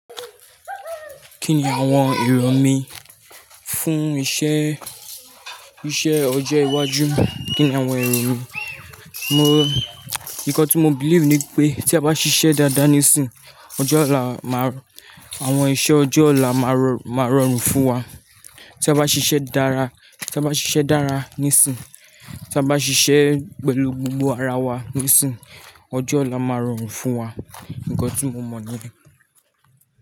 Kí ni àwọn èrò mí fún iṣẹ́, iṣẹ́ ọjọ́ iwájú? Kí ni àwọn èrò mi? Mo, ńkọ́ tí mo believe ni pé tí a bá ṣiṣẹ́ dáadáa níìsín, ọjọ́ ọ̀la má, àwọn iṣẹ́ ọjọ́ ọ̀la máa rọrùn fún wa. Tí a bá ṣiṣẹ́ dára, tí a bá ṣiṣẹ́ dára níìsín, tí a bá ṣiṣẹ́ pẹ̀lú gbogbo ara wa níìsín, ọjọ́ ọ̀la máa rọrùn fún wa. Ńkọ́ tí mo mọ̀ ni.